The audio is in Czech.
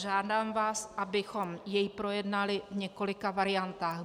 Žádám vás, abychom ho projednali, v několika variantách.